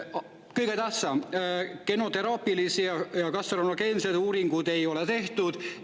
Kõige tähtsam: genoteraapilisi ja kantserogeenseid uuringuid ei ole tehtud.